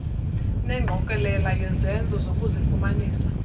nengqokelela yezenzo zokuzifumanisa